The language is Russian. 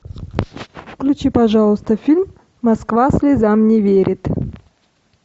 включи пожалуйста фильм москва слезам не верит